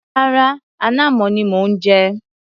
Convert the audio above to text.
Rárá, ànàmọ́ ni mò ń jẹ.